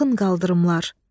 Baxın qaldırımlar.